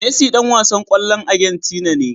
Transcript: Messi Dan wasan kwallon agentina ne